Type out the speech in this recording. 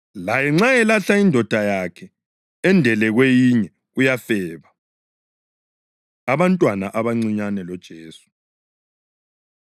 Laye nxa elahla indoda yakhe endele kwenye, uyafeba.” Abantwana Abancinyane LoJesu